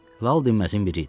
Lal dinməzindən biri idi.